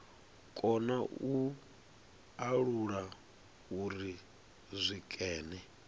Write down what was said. kona u alula uri zwikene